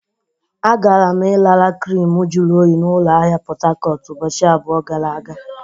Agara m ịrara krimu jụrụ oyi na ụlọ ahịa Pot Tarcot ụbọchị abụọ gara aga.